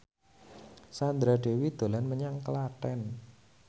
Sandra Dewi dolan menyang Klaten